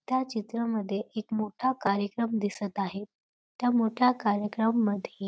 त्या चित्रामध्ये एक मोठा कार्यक्रम दिसत आहे त्या मोठ्या कार्यक्रमामध्ये --